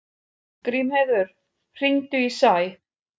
Grímheiður, hringdu í Sæ.